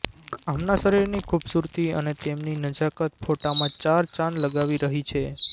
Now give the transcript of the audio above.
આમના શરીફ ની ખુબસુરતી અને તેમની નજાકત ફોટા માં ચાર ચાંદ લગાવી રહી છે